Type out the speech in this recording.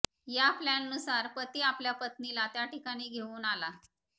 या प्लॅननुसार पती आपल्या पत्नीला त्या ठिकाणी घेऊन आला